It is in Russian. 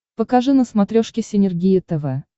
покажи на смотрешке синергия тв